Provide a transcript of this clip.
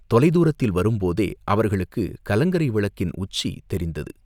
தொலைதூரத்தில் வரும்போதே அவர்களுக்குக் கலங்கரை விளக்கின் உச்சி தெரிந்தது.